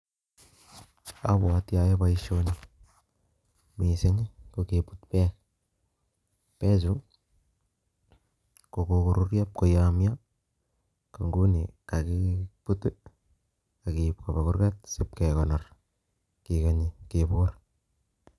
Abwoti ayoe boisyoni, mising ko kebut bek, Chu kokoyomyo akomeche kobut akein Kaa ibkebor akemaa